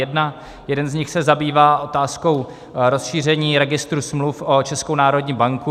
Jeden z nich se zabývá otázkou rozšíření registru smluv o Českou národní banku.